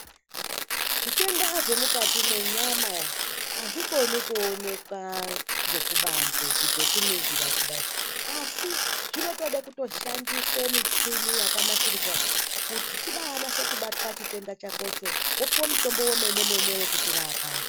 Zvitenda zvemukati mwenyama azvikoni kuonekwa ngekubanze kuita zvekuningira kudayi asi zvinotoda kushandisa mishini yakanasirwa kuti chibaanase kuonekwa chitenda chakocho woone kupuwa mutombo wemene mene wekuchirapa.